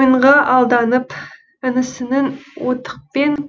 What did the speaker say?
ойынға алданып інісінің оттықпен